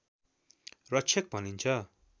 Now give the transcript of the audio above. रक्षक भनिन्छ